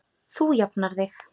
Þú jafnar þig.